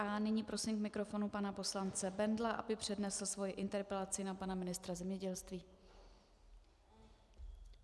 A nyní prosím k mikrofonu pana poslance Bendla, aby přednesl svoji interpelaci na pana ministra zemědělství.